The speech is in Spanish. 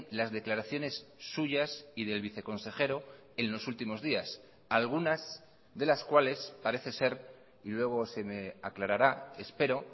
las declaraciones suyas y del viceconsejero en los últimos días algunas de las cuales parece ser y luego se me aclarará espero